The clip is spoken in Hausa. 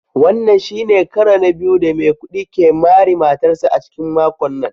Wannan shi ne karo na biyu da Maikudi ke mari matarsa ​​a cikin makon nan